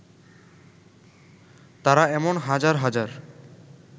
তারা এমন হাজার হাজার